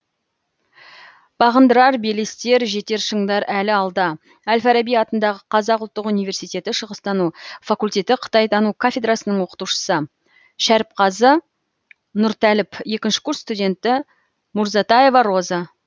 бағындырар белестер жетер шындар әлі алда әл фараби атындағы қазақ ұлттық университеті шығыстану факультеті қытайтану кафедрасының оқытушысы шәріпқазы нұртәліп екінші курс студенті мурзатаева роза